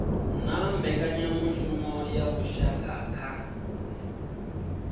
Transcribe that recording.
na mbekanyamushumo ya vhushaka kha